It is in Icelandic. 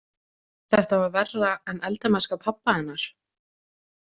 Þetta var verra en eldamennska pabba hennar.